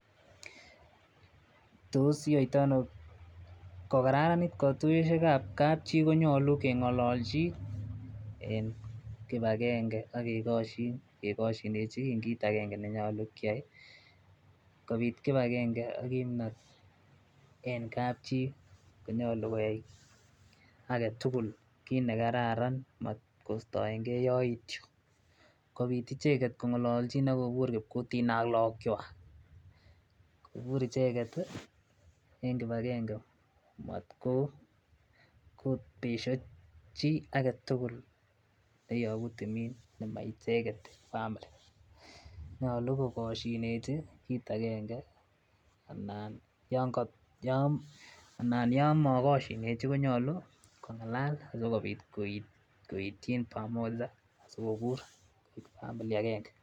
Tos iyoitoi ano kogararanit kotuyosiek ab kap chii konyolu kengololjin en kipagenge ak kegoshin kegoshineji kiit agenge nenyolu kyai kopiit kipagenge ak kimnot en kapchii konyolu koek agetugul kiiit negararan maat kostoengee yoityo kobiit icheket kongololjin ak kobuur kipkutin ak logok chwaak, kobuur icheket en kipagenge maat kobesyo chii agetugul neyobu timin nemaicheget family nyolu kogosyineji kiit agenge anan yon mogosyineji kongalal sigobiit koityin pamoja asikobuur family agenge.